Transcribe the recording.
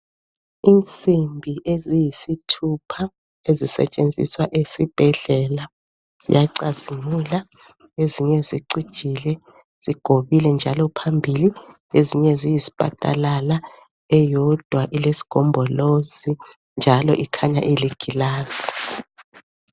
Insimbi eziyisithupha ezisetsenziswa esibhedlela ziyacazimula ezinye zicijile zigobile njalo phambili ezinye ziyisipatalala eyodwa elesigombolozi njalo ikhanya iligilazi.